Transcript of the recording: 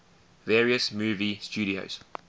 various movie studios